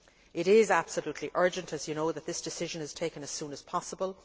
It is absolutely urgent, as the House knows, that this decision be taken as soon as possible.